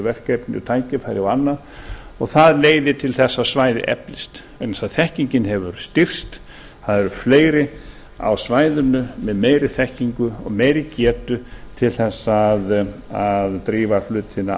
verkefni tækifæri og annað og það leiðir til þess að svæðið eflist vegna þess að þekkingin hefur styrkst það er fleiri á svæðinu með meiri þekkingu og meiri getu til þess að drífa hlutina